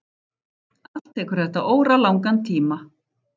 Allt tekur þetta óralangan tíma.